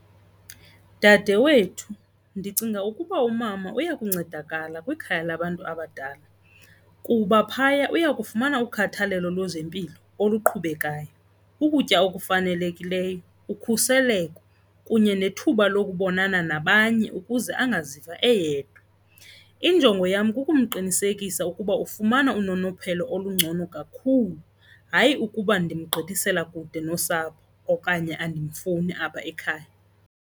Dade wethu, ndicinga ukuba umama uya kuncedakala kwikhaya labantu abadala kuba phaya uyakufumana ukhathalelo lwezempilo oluqhubekayo, ukutya okufanelekileyo, ukhuseleko kunye kunye nethuba lokubonana nabanye ukuze angaziva eyedwa. Injongo yam kukumqinisekisa ukuba ufumana unonophelo olungcono kakhulu, hayi ukuba ndimgqithisela kude nosapho okanye andimfuni apha ekhaya.